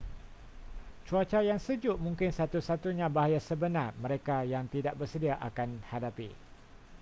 cuaca yang sejuk mungkin satu-satunya bahaya sebenar mereka yang tidak bersedia akan hadapi